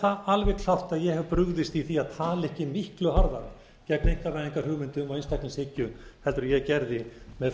það alveg klárt að ég hef brugðist í því að tala ekki miklu harðar gegn einkavæðingarhugmyndum og einstaklingshyggju en ég gerði með